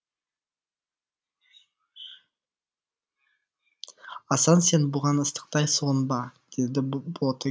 асан сен бұған ыстықтай сұғынба деді боти